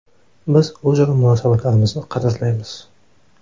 Biz o‘zaro munosabatlarimizni qadrlaymiz.